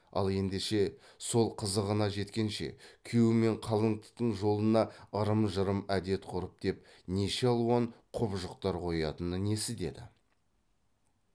ал ендеше сол қызығына жеткенше күйеу мен қалыңдықтың жолына ырым жырым әдет дәстүр деп неше алуан құбыжықтар қоятыны несі деді